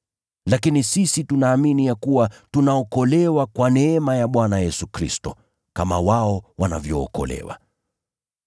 Lakini sisi tunaamini ya kuwa tunaokolewa kwa neema ya Bwana Yesu Kristo, kama wao wanavyookolewa.”